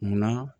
Munna